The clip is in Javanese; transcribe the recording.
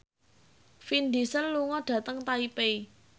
Vin Diesel lunga dhateng Taipei